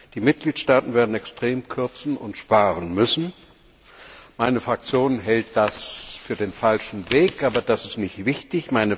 Die Mitgliedstaaten werden extrem kürzen und sparen müssen. Meine Fraktion hält das für den falschen Weg, aber das ist jetzt nicht wichtig.